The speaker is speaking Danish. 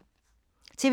TV 2